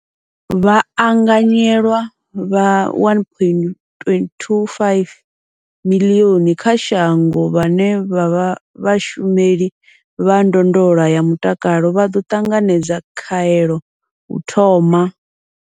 Vhaanganyelwa vha 1.25 miḽioni kha shango vhane vha vha vhashumeli vha ndondolo ya mutakalo vha ḓo ṱanganedza khaelo u thoma.